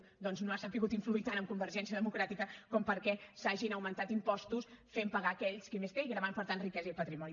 doncs no ha sabut influir tant en convergència democràtica com perquè s’hagin augmentat impostos que facin pagar aquells que més tenen i gravin per tant riquesa i patrimoni